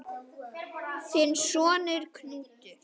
Þinn sonur, Knútur.